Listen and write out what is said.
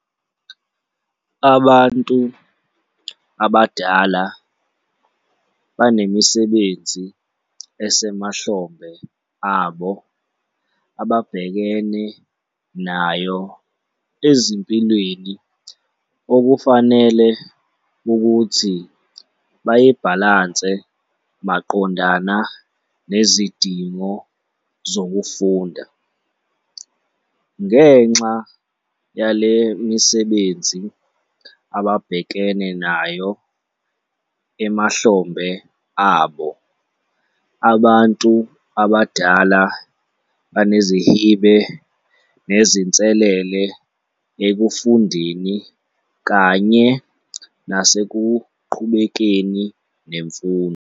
Abantu abadala banemisebenzi esemahlombe abo ababhekene nayo ezimpilweni okufanele ukuthi bayibhalanse maqondana nezidingo zokufunda. Ngenxa yale misebenzi ababhekenenayo emahlombe abo, abantu abadala banezihibe nezinselele ekufundeni kanye nasekuqhubekeni nemfundo.